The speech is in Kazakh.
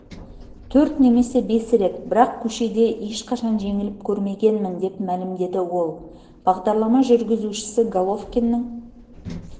төрт немесе бес рет бірақ көшеде ешқашан жеңіліп көрмегенмін деп мәлімдеді ол бағдарлама жүргізушісі головкиннің